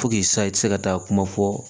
sisan i tɛ se ka taa kuma fɔ